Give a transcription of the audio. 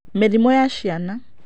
Mĩrimũ ya ciana.